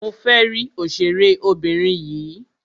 Mo fẹ́ rí òṣèré obìnrin yìí.